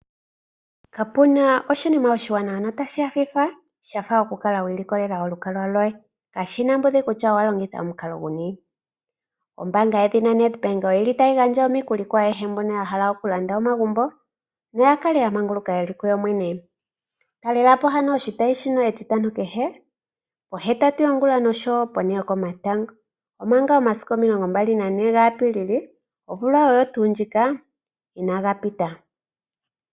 Kapuna oshinima oshiwanawa no tashi nyayudha shafa okukala wi ilokolela olukalwa lwoye, kashina mbudhi kutya owa longitha omukalo guni . Ombaanga yedhina Nedbank oyili tayi gandja omikuli kwaayehe mbono yahala okulanda omagumbo noya kale yamanguluka yeli ku yo yene. Talela po ano oshitayi shino etitano kehe pohetatu yongulonene noshowo po ne yokomatango, omanga omasiku omilongo mbali nagane gaApilili omvula oyo tuu ndjika inaaga pita.